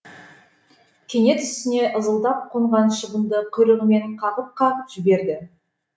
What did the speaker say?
кенет үстіне ызылдап қонған шыбынды құйрығымен қағып қағып жіберді